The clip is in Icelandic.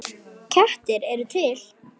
Kettir eru til